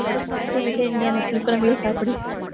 சரி, சரி, நீ அந்த புளி குழம்பையே சாப்பிடு.